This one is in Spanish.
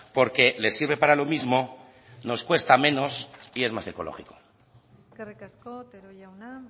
porque le sirve para lo mismo nos cuesta menos y es más ecológico eskerrik asko otero jauna